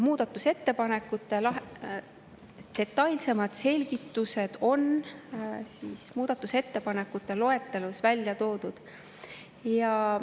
Muudatusettepanekute detailsemad selgitused on muudatusettepanekute loetelus välja toodud.